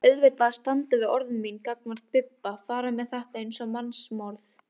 Varð auðvitað að standa við orð mín gagnvart Bibba, fara með þetta eins og mannsmorð.